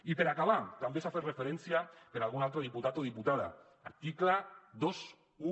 i per acabar també s’hi ha fet referència per algun altre diputat o diputada article vint un